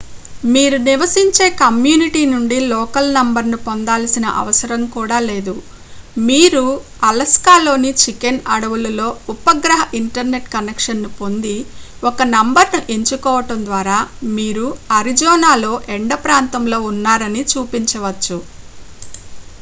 మీరు నివసించే కమ్యూనిటీ నుండి లోకల్ నంబర్ను పొందాల్సిన అవసరం కూడా లేదు మీరు అలస్కాలోని చికెన్ అడవులలో ఉపగ్రహ ఇంటర్నెట్ కనెక్షన్ను పొంది ఒక నంబర్ను ఎంచుకోవడం ద్వారా మీరు అరిజోనాలో ఎండ ప్రాంతంలో ఉన్నారని చూపించవచ్చు